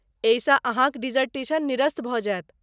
एहिसँ अहाँक डिसर्टेशन निरस्त भऽ जायत।